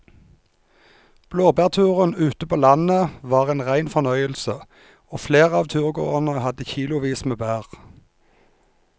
Blåbærturen ute på landet var en rein fornøyelse og flere av turgåerene hadde kilosvis med bær.